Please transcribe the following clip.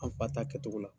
An fa ta kɛcogo la